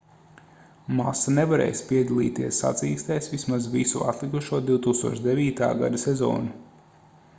masa nevarēs piedalīties sacīkstēs vismaz visu atlikušo 2009. gada sezonu